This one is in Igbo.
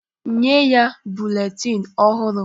Nye ya buletin ọhụrụ!